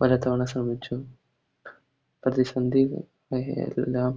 പലതവണ ശ്രെമിച്ചു പ്രതിസന്ധി എല്ലാം